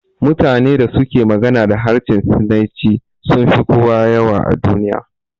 Mutanen da suke magana da harshen sinanci sunfi kowa yawa a duniya